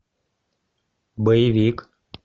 боевик